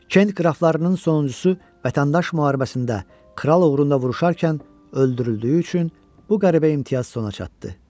Kent qraflarının sonuncusu vətəndaş müharibəsində kral uğrunda vuruşarkən öldürüldüyü üçün bu qəribə imtiyaz sona çatdı.